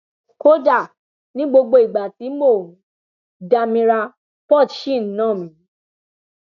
kódà ni gbogbo ìgbà tí mò ń dámira port ṣì ń ná mi